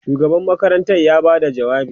shugaban makaranta ya Bada jawabi